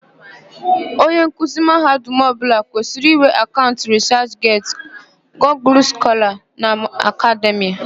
Onye nkuzi mahadum ọbụla kwesịrì ịnwe akaụnt rịsachget, Gugul Skọla na Akademịa.